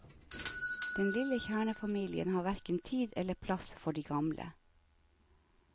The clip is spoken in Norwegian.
Den lille kjernefamilien har hverken tid eller plass for de gamle.